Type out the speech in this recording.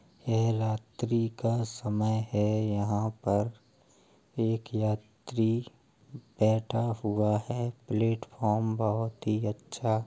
यह रात्री का समय है | यहाँ पर एक यात्री बैठा हुआ है। प्लेटफॉर्म बहुत ही अच्छा --